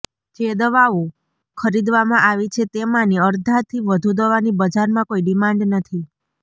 જે દવાઓ ખરીદવામાં આવી છે તેમાંની અરધાથી વધુ દવાની બજારમાં કોઈ ડિમાન્ડ નથી